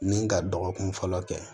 Ni ka dɔgɔkun fɔlɔ kɛ